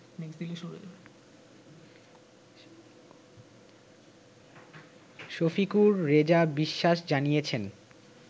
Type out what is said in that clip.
শফিকুর রেজা বিশ্বাস জানিয়েছেন